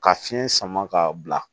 Ka fiɲɛ sama ka bila